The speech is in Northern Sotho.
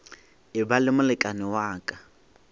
eba le molekane wa ka